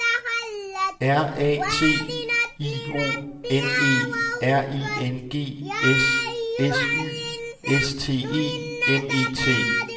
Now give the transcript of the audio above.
R A T I O N E R I N G S S Y S T E M E T